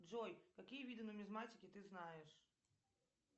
джой какие виды нумизматики ты знаешь